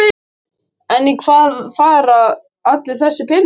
En í hvað fara allir þessir peningar?